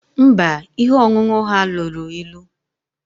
Mba, ihe ọṅụṅụ ha lụrụ ịlu